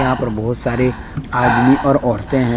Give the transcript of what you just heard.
यहाँ पर बहुत सारे आदमी और औरते है।